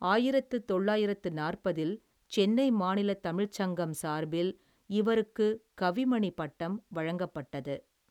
ஆயிரத்தி தொள்ளாயிரத்தி நாற்பதில், சென்னை மாநில தமிழ் சங்கம் சார்பில், இவருக்கு கவிமணி பட்டம் வழங்கப்பட்டது.